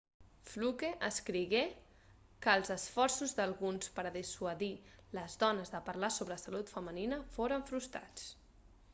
fluke escrigué que els esforços d'alguns per a dissuadir les dones de parlar sobre la salut femenina foren frustrats